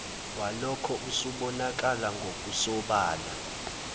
walokho usubonakala ngokusobala